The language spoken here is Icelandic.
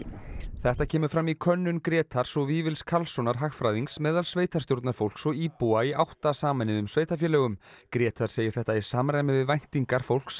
þetta kemur fram í könnun Grétars og Vífils Karlssonar hagfræðings meðal sveitarstjórnarfólks og íbúa í átta sameinuðum sveitarfélögum Grétar segir þetta í samræmi við væntingar fólks